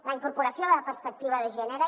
la incorporació de la perspectiva de gènere